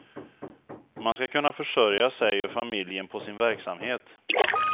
Man ska kunna försörja sig och familjen på sin verksamhet.